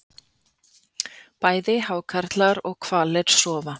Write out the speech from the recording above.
Bæði hákarlar og hvalir sofa.